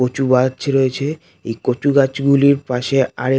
কচু গাছ রয়েছে এই কচু গাছ গুলির পাশে আর এক--